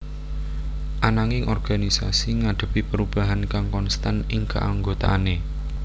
Ananging organisasi ngadhepi perubahan kang konstan ing keanggotaané